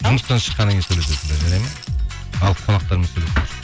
жұмыстан шықаннан кейін сөйлесесіңдер жарайды ма ал қонақтармен сөйлесіңдер